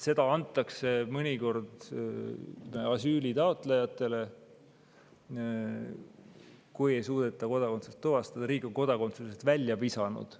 Seda antakse mõnikord asüülitaotlejatele, kui ei suudeta kodakondsust tuvastada või riik on nad kodakondsusest välja visanud.